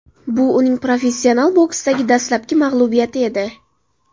Bu uning professional boksdagi dastlabki mag‘lubiyati edi.